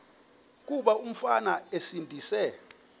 kuba umfana esindise